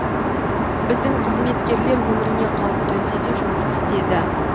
біздің қызметкерлер өміріне қауіп төнсе де жұмыс істеді